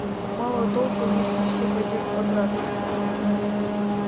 мало толку если все пойдёт обратно